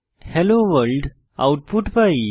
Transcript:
hello world output pi